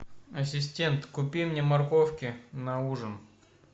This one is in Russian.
ассистент купи мне морковки на ужин